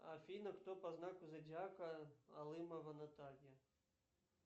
афина кто по знаку зодиака алымова наталья